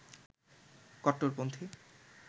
কট্টরপন্থী